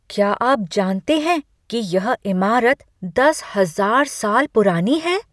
क्या आप जानते हैं कि यह इमारत दस हजार साल पुरानी है?